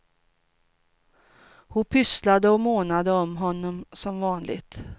Hon pysslade och månade om honom, som vanligt.